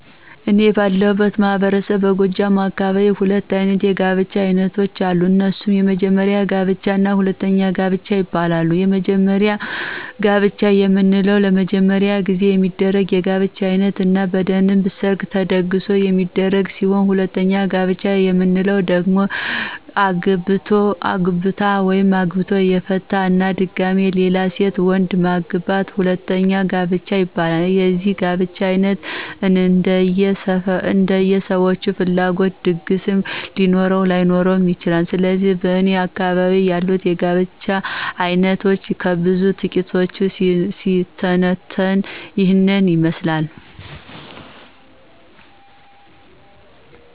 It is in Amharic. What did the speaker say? እኔ ባለሁበት ማህበረሰብ በጎጃም አካባቢ ሁለት አይነት የጋብቻ አይነቶች አሉ። እነሱም:- የመጀመሪያ ጋብቻ እና ሁለተኛ ጋብቻ ይባላሉ። የመጀመሪያ ጋብቻ የምንለው ለመጀመሪያ ጊዜ የሚደረግ የጋብቻ አይነት እና በደንብ ሠርግ ተደግሶ የሚደረግ ሲሆን ሁለተኛ ጋብቻ የምንለው ደግሞ አግብታ/ቶ/ የፈታ እና ድጋሚ ሌላ ሴት/ወንድ/ማግባት ሁለተኛ ጋብቻ ይባላል። የዚህ የጋብቻ አይነት እንደየ ሠዎቹ ፍላጎት ድግስ ሊኖርም ላይኖርም ይችላል። ስለዚህ በእኔ አካባቢ ያሉት የጋብቻ አይነቶች ከብዙ በጥቂቱ ሲተነተን ይህን ይመስላል።